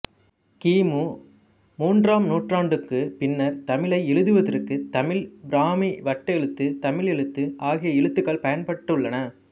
கிமு மூன்றாம் நூற்றாண்டுக்குப் பின்னர் தமிழை எழுதுவதற்கு தமிழ்ப் பிராமி வட்டெழுத்து தமிழ் எழுத்து ஆகிய எழுத்துகள் பயன்பட்டுள்ளன